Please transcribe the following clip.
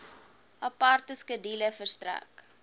aparte skedule verstrek